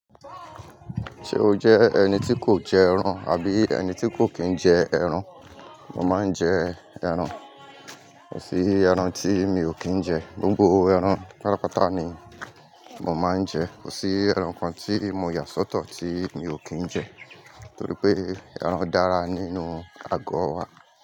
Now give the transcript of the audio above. Ṣé o jẹ́ ẹni tí kò jẹ ẹran àbí ẹni tí kò kín jẹ ẹran? Mo máa ń jẹ ẹran. Kò sí ẹran tí mi ò kín jẹ, gbogbo ẹran pátápátá ni mo máa ń jẹ. Kò sí ẹran kan tí mo yà sọ́tọ̀ tí mi ò kín jẹ, torí pé ẹran dára nínú ago wa.